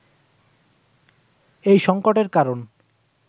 এই সংকটের কারণ